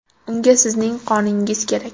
Unga sizning qoningiz kerak .